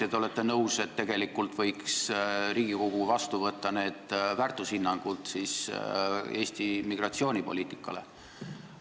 Ja kas te olete nõus, et tegelikult võiks Riigikogu võtta vastu väärtushinnangud Eesti migratsioonipoliitika kohta?